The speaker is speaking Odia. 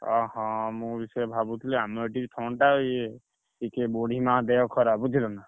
ଓହୋ ମୁଁ ବି ସେଇଆ ଭାବୁଥିଲି ଆମ ଏଠି ଥଣ୍ଡା ଇଏ, ଟିକେ ବୁଢୀମା ଦେହ ଖରାପ ବୁଝିଲ ନା?